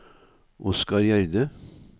Oscar Gjerde